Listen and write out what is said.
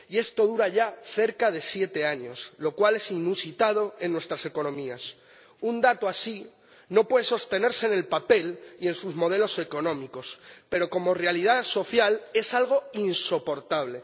Y esto dura ya cerca de siete años, lo cual es inusitado en nuestras economías. Un dato así no puede sostenerse en el papel y en sus modelos económicos, pero como realidad social es algo insoportable.